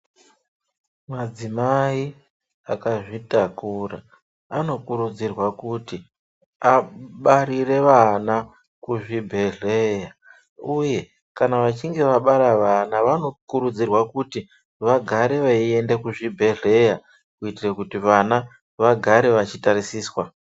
Madzimai akazvitakura anokurudzirwa kuti abarirw vana kuzvibhedhlera uye kana vachinge vabaraa vana vanokurudzirwa kuti vagare veienda kuzvibhedhlera kuitira kuti vana vagare vachitarisiswa.